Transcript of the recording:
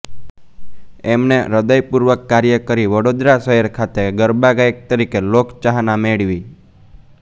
એમણે હૃદયપૂર્વક કાર્ય કરી વડોદરા શહેર ખાતે ગરબાગાયક તરીકે લોકચાહના મેળવી